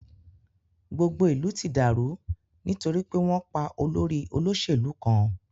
Gbogbo ìlú ti dàrú nítorí pé wọn pá olórí olóṣèlú kan.